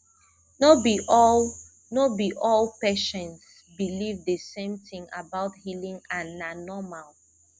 no be all no be all patients believe the same thing about healing and na normal